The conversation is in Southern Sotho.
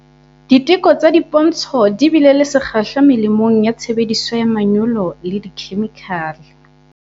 Diteko tsa dipontsho di bile le sekgahla melemong ya tshebediso ya manyolo le dikhemikhale.